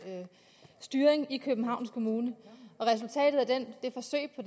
styring i københavns kommune og resultatet af det forsøg på